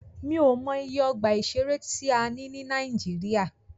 Mí ò mọ iye ọgbà ìṣẹ̀rẹ́ tí a ní ní Nàíjíríà.